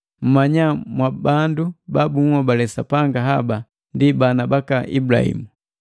Mmnya mwabandu baanhobale Sapanga haba ndi bana baka Ibulahimu.